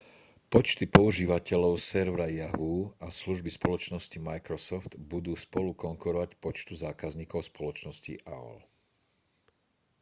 počty používateľov servera yahoo a služby spoločnosti microsoft budú spolu konkurovať počtu zákazníkov spoločnosti aol